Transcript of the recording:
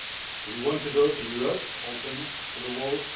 Do we want to build a Europe open to the world?